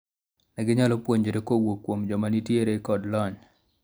ne ginyalo puonjore kowuok kuom joma nitiere kod lony